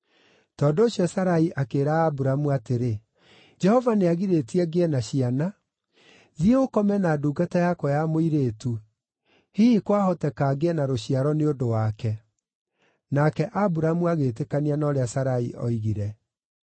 tondũ ũcio Sarai akĩĩra Aburamu atĩrĩ, “Jehova nĩagirĩtie ngĩe na ciana. Thiĩ ũkome na ndungata yakwa ya mũirĩtu; hihi kwahoteka ngĩe na rũciaro nĩ ũndũ wake.” Nake Aburamu agĩĩtĩkania na ũrĩa Sarai oigire.